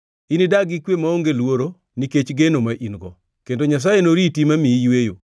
Inidag gi kwe maonge luoro, nikech geno ma in-go, kendo Nyasaye noriti mamiyi yweyo.